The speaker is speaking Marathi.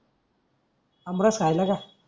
आमरस खायल का?